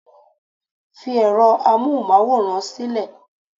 fi ẹrọ amohunmaworan sílẹ